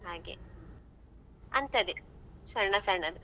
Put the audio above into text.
ಹಾಗೆ ಅಂತದ್ದೇ ಸಣ್ಣ ಸಣ್ಣದು.